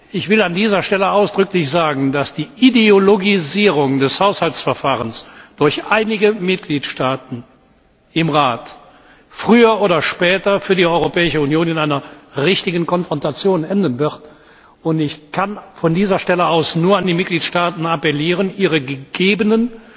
Ich will an dieser Stelle ausdrücklich sagen, dass die Ideologisierung des Haushaltsverfahrens durch einige Mitgliedstaaten im Rat früher oder später für die Europäische Union in einer richtigen Konfrontation enden wird. Ich kann von dieser Stelle aus nur an die Mitgliedstaaten appellieren, ihre gegebenen